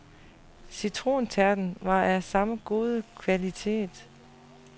Citrontærten var af samme gode kvalitet.